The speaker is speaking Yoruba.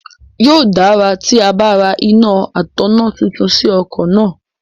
Yóò dára tí a bá ra iná atọ̀nà tuntun sí ọkọ̀ náà.